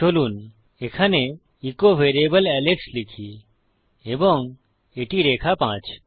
চলুন এখানে echo variable Alex লিখি এবং এটি রেখা 5